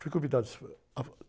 Fui convidado a